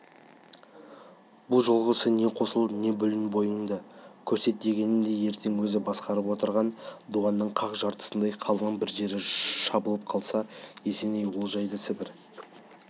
бұл жолғысы не қосыл не бөлін бойыңды көрсет дегені де ертең өзі басқарып отырған дуанның қақ жартысындай қалың бір жері шабылып қалса есеней ол жайды сібір